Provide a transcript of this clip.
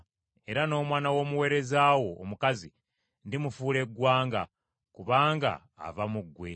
Era n’omwana w’omuweereza wo omukazi ndimufuula eggwanga, kubanga ava mu ggwe.”